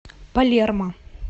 палермо